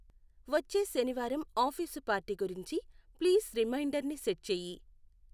వచ్చే శనివారం office party గురించి ప్లీస్ రిమైండ్ర్ని సెట్ చెయ్యి.